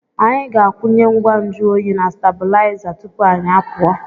Anyị ga-akwụnye ngwa nju oyi na stabụlaiza tupu anyị pụọ.